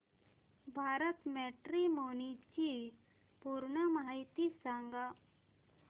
Bharat Matrimony ची पूर्ण माहिती सांगा